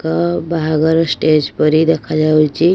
ଏକ ଅ ବାହାଘର ଷ୍ଟେଜ ପରି ଦେଖା ଯାଉଛି --